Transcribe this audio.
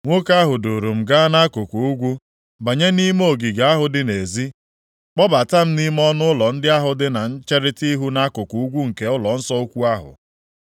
Nwoke ahụ duuru m gaa nʼakụkụ ugwu, banye nʼime ogige ahụ dị nʼezi, kpọbata m nʼime ọnụụlọ ndị ahụ dị na ncherita ihu nʼakụkụ ugwu nke ụlọnsọ ukwu ahụ.